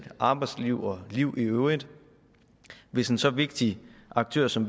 arbejdsliv og liv i øvrigt hvis en så vigtig aktør som